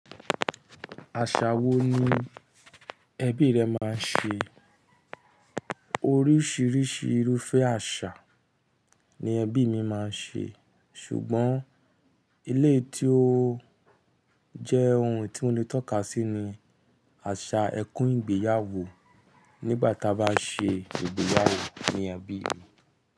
Àṣà wo ni ẹbí rẹ máa ń ṣe? Oríṣìíríṣìí irúfẹ́ àṣà ni ẹbí mi máa ń ṣe. Ṣùgbọ́n eleyi tí ó jẹ́ ohun tí mo lè tọ́ka sí ni àṣà ẹkún ìgbéyàwó nígbà tí a bá ṣe ìgbéyàwó ní ẹbí mi.